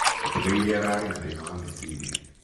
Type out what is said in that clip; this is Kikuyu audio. Mũtigairi ararĩ na thĩna wa meecĩrĩa.